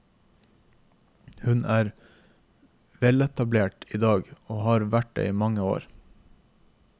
Hun er veletablert idag, og har vært det i mange år.